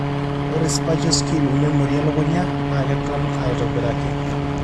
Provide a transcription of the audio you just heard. ore spatial skill o memory elukunya naa keton aitobiraki.